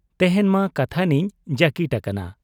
ᱛᱮᱦᱮᱧ ᱢᱟ ᱠᱟᱛᱷᱟᱱᱤᱧ ᱡᱟᱹᱠᱤᱴ ᱟᱠᱟᱱᱟ ᱾